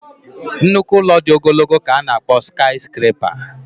nnukwu ụlọ dị ogologo ka a na-akpọ sikayiscrapa